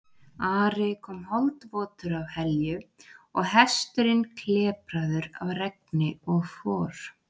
Ari kom holdvotur af Helju og hesturinn klepraður af regni og for.